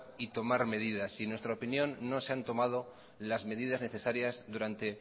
y tomar medidas y en nuestra opinión no se han tomado las medidas necesarias durante